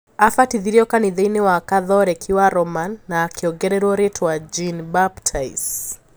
Abatithirio kanitha-ini wa Kathoreki wa Roman na akiongererwo ritwa Jean-Baptise